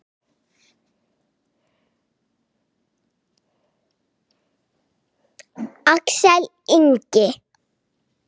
Axel Ingi.